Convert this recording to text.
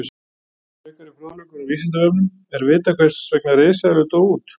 Frekari fróðleikur á Vísindavefnum: Er vitað hvers vegna risaeðlur dóu út?